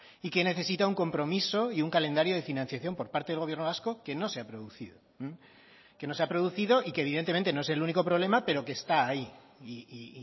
y que necesita un compromiso y un calendario de financiación por parte del gobierno vasco que no se ha producido que no se ha producido y que evidentemente no es el único problema pero que está ahí y